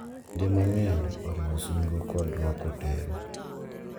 Kinde mang’eny oriwo singo kod rwako teru.